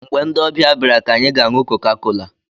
Mgbe ndị ọbịa bịara ka anyị ga-aṅụ kokakola